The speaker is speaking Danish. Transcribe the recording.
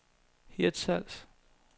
Hirtshals